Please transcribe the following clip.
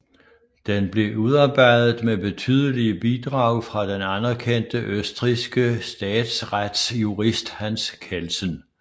Den blev udarbejdet med betydelige bidrag fra den anerkendte østrigske statsretsjurist Hans Kelsen